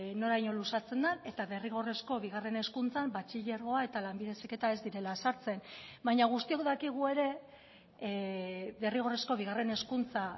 noraino luzatzen den eta derrigorrezko bigarren hezkuntzan batxilergoa eta lanbide heziketa ez direla sartzen baina guztiok dakigu ere derrigorrezko bigarren hezkuntza